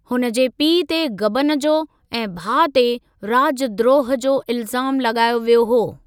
हुन जे पीउ ते गबन जो ऐं भाउ ते राजद्रोह जो इल्ज़ाम लॻायो वियो हो।